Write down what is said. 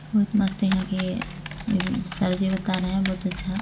बहुत मस्त यहाँ के सर जी बता रहे है बहुत अच्छा--